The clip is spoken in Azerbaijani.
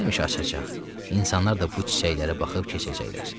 Həmişə açacaq, insanlar da bu çiçəklərə baxıb keçəcəklər.